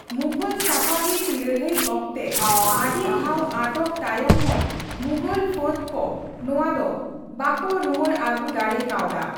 ᱢᱩᱜᱷᱚᱞᱼᱥᱟᱯᱷᱟᱵᱷᱤᱫ ᱞᱟᱹᱲᱦᱟᱹᱭ ᱚᱠᱛᱮ ᱟᱹᱰᱤ ᱫᱷᱟᱣ ᱟᱴᱚᱠ ᱛᱟᱭᱚᱢ ᱦᱚᱸ ᱢᱩᱜᱷᱚᱞ ᱯᱷᱟᱹᱫ ᱠᱚ ᱱᱚᱣᱟ ᱫᱚ ᱵᱟᱠᱳ ᱨᱩᱣᱟᱹᱲ ᱟᱜᱩ ᱫᱟᱲᱮ ᱠᱟᱣᱫᱟ ᱾